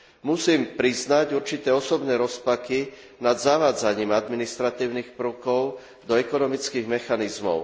Musím priznať určité osobné rozpaky nad zavádzaním administratívnych prvkov do ekonomických mechanizmov.